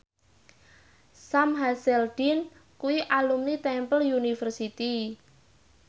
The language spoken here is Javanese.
Sam Hazeldine kuwi alumni Temple University